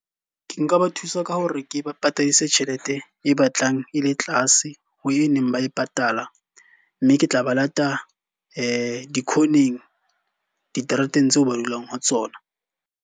Ke nka ba thusa ka hore ke ba patadisa tjhelete e batlang e le tlase ho e neng ba e patala. Mme ke tla ba lata di-corner-ng, diterateng tseo ba dulang ho tsona.